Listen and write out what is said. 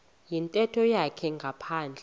yintetho yakhe ngaphandle